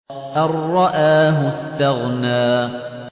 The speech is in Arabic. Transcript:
أَن رَّآهُ اسْتَغْنَىٰ